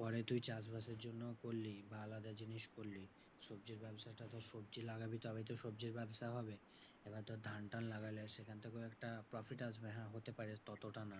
পরে তুই চাষবাসের জন্য করলি বা আলাদা জিনিস করলি। সবজির ব্যাবসাটা তো সবজি লাগাবি তবে তো সবজির ব্যবসা হবে। এবার ধর ধান টান লাগালে সেখান থেকেও একটা profit আসবে। হ্যাঁ হতে পারে ততটা না,